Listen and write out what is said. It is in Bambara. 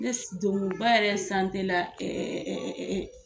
Ne donkunba yɛrɛ la .